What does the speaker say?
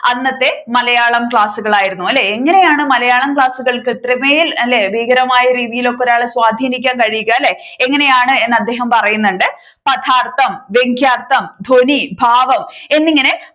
അന്നത്തെ മലയാളം ക്ലാസ്സുകളായിരുന്നു അല്ലെ. എങ്ങനെയാണ് മലയാളം ക്ലാസ്സുകൾ ഇത്രമേൽ അല്ലെ ഭീകരമായ രീതിയിൽ ഒരാളെ സ്വാധിനിക്കാൻ കഴിയുക അല്ലെ എങ്ങനെയാണെന്ന് അദ്ദേഹം പറയുന്നുണ്ട് പദാർത്ഥം, വ്യങ്ക്യാർത്ഥം, ധ്വനി, ഭാവം എന്നിങ്ങനെ